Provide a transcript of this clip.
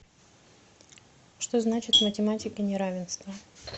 что значит в математике неравенство